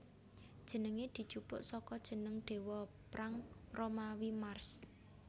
Jenengé dijupuk saka jeneng déwa prang Romawi Mars